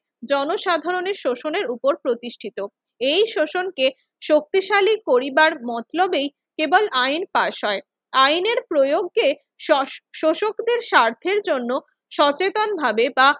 জনসাধারণের শোষণের উপর প্রতিষ্ঠিত। এই শোষণকে শক্তিশালী করিবার মতলবেই কেবল আইন পাশ হয়। আইনের প্রয়োগকে শ~ শোষকদের স্বার্থের জন্য সচেতনভাবে বা